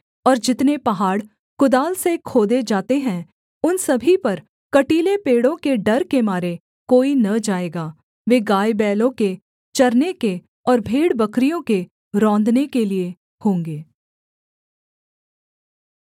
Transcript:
और जितने पहाड़ कुदाल से खोदे जाते हैं उन सभी पर कटीले पेड़ों के डर के मारे कोई न जाएगा वे गायबैलों के चरने के और भेड़बकरियों के रौंदने के लिये होंगे